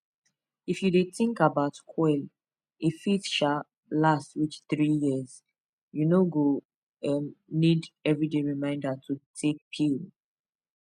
if you dey think about coil e fit um last reach 3yrs u no go um need everyday reminder to dey take pill